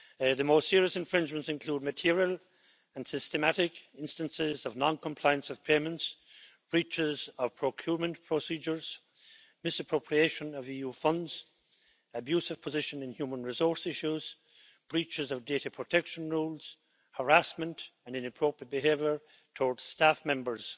The most serious infringements include material and systematic instances of non-compliance of payments, breaches of procurement procedures, misappropriation of EU funds, abuse of position in human resources issues, breaches of data protection rules, harassment and inappropriate behaviour towards staff members.